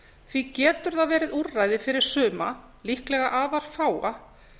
því getur það verið úrræði fyrir suma líklega afar fáa